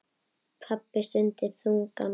Pabbi stundi þungan.